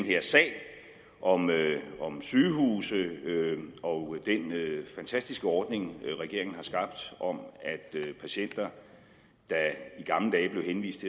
her sag om sygehuse og den fantastiske ordning regeringen har skabt om at patienter der i gamle dage blev henvist